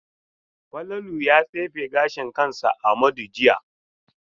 Falalu ya tsefe gashin kansa Amadu jiya.